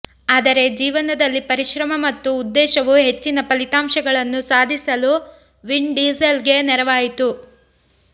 ಆದರೆ ಜೀವನದಲ್ಲಿ ಪರಿಶ್ರಮ ಮತ್ತು ಉದ್ದೇಶವು ಹೆಚ್ಚಿನ ಫಲಿತಾಂಶಗಳನ್ನು ಸಾಧಿಸಲು ವಿನ್ ಡೀಸೆಲ್ಗೆ ನೆರವಾಯಿತು